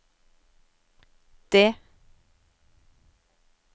det